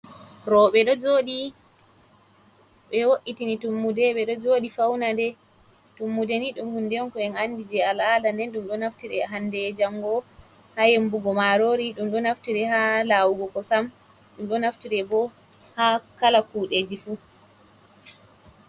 Roɓe ɗo joɗi be woitini tummude ɓeɗo joɗi faunade, tummudeni ɗum hunde on ko en andi je ala'ada nden ɗum ɗo naftiri hande jango ha yembugo marori, ɗum ɗo naftire ha lawugo kosam, ɗum ɗo naftire bo ha kala kuɗeji fu.